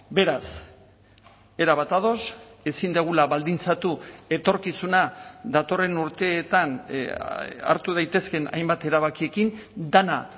beraz erabat ados ezin dugula baldintzatu etorkizuna datorren urteetan hartu daitezkeen hainbat erabakiekin dena